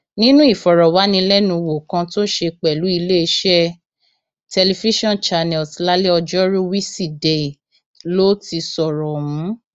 nínú ìfọrọwánilẹnuwò kan tó ṣe pẹlú iléeṣẹ tẹlifíṣàn channels lálẹ ọjọrùú wísidee ló ti sọrọ ọhún